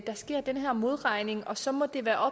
sådan